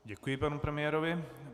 Děkuji panu premiérovi.